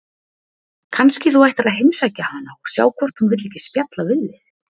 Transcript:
Kannski þú ættir að heimsækja hana og sjá hvort hún vill ekki spjalla við þig?